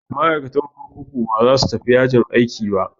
Ma'aikatan kurkuku ba za su tafi yajin aiki ba.